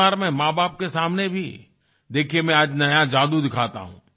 परिवार में माँबाप के सामने भी देखिये मैं आज नया जादू दिखाता हूँ